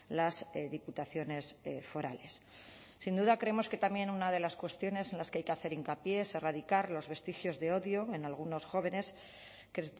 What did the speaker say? las diputaciones forales sin duda creemos que también una de las cuestiones en las que hay que hacer hincapié es erradicar los vestigios de odio en algunos jóvenes que